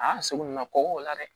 A y'a seko n'a kɔkɔ o la dɛ